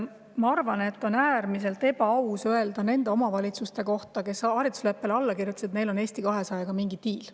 Ma arvan, et on äärmiselt ebaaus öelda nende omavalitsuste kohta, kes haridusleppele alla kirjutasid, et neil on Eesti 200-ga mingi diil.